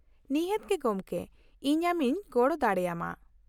-ᱱᱤᱦᱟᱹᱛ ᱜᱮ ᱜᱚᱢᱠᱮ , ᱤᱧ ᱟᱢᱤᱧ ᱜᱚᱲᱚ ᱫᱟᱲᱮᱭᱟᱢᱟ ᱾